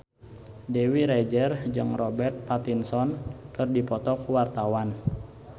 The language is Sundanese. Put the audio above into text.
Dewi Rezer jeung Robert Pattinson keur dipoto ku wartawan